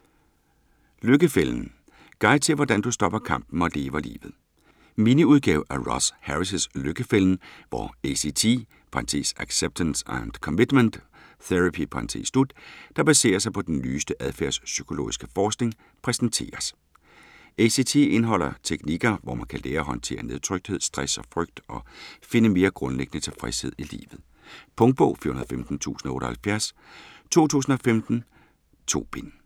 Lykkefælden: Guide til, hvordan du stopper kampen og lever livet Miniudgave af Russ Harris' Lykkefælden, hvor ACT (Acceptance and Commitment Therapy), der baserer sig på den nyeste adfærdspsykologiske forskning, præsenteres. ACT indeholder teknikker, hvor man kan lære at håndtere nedtrykthed, stress og frygt og finde mere grundlæggende tilfredshed i livet. Punktbog 415078 2015. 2 bind.